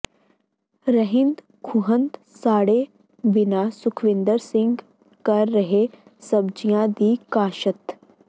ਰਹਿੰਦ ਖੂੰਹਦ ਸਾੜੇ ਬਿਨਾਂ ਸੁਖਵਿੰਦਰ ਸਿੰਘ ਕਰ ਰਿਹੈ ਸਬਜ਼ੀਆਂ ਦੀ ਕਾਸ਼ਤ